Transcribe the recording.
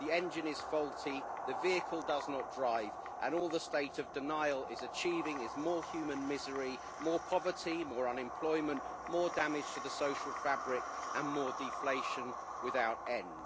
The engine is faulty, the vehicle does not drive and all the state of denial is achieving is more human misery, more poverty, more unemployment, more damage to the social fabric and more deflation without end.